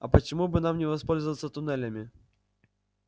а почему бы нам не воспользоваться туннелями